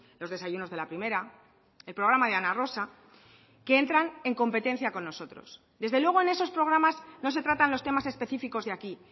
los desayunos de la primera el programa de ana rosa que entran en competencia con nosotros desde luego en esos programas no se tratan los temas específicos de aquí